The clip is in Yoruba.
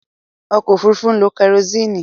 Ọkọ̀ òfurufú ń lo kẹrosíìnì.